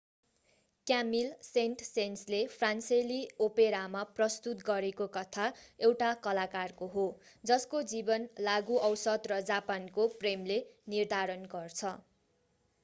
Camille Saint सेन्सले फ्रान्सेली ओपेरामा प्रस्तुत गरेको कथा एउटा कलाकारको हो जसको जीवन लागू औषध र जापानको प्रेमले निर्धारण गर्छ